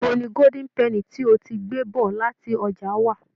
Ibo ni gódín pẹnì tí o ti gbé bọ̀ láti ọjà wà?